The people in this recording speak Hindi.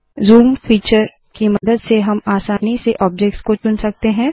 ज़ूम फीचर की मदद से हम आसानी से ऑब्जेक्ट्स को चुन सकते है